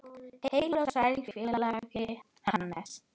Heill og sæll félagi Hannes!